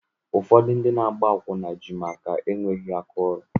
Ụfọdụ ndị na agba akwụna ji maka enweghị áká ọrụ.